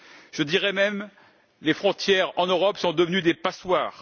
Je dirais même que les frontières en Europe sont devenues des passoires.